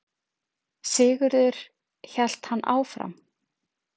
Sigurður, hélt hann áfram.